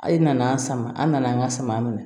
A' ye na an sama an nana an ka sama minɛ